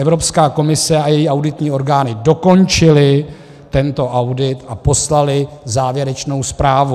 Evropská komise a její auditní orgány dokončily tento audit a poslaly závěrečnou zprávu.